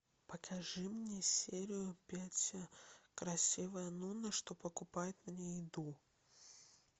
покажи мне серию пять красивая нуна что покупает мне еду